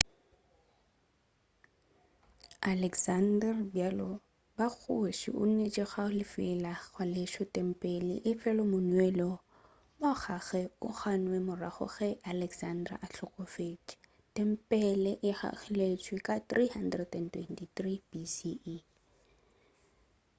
alexander bjalo ka kgoši o neetše ka go lefela go agaleswa tempele efela moneelo wa gagwe o gannwe ka morago ge alexander a hlokofetše tempele e agilweleswa ka 323 bce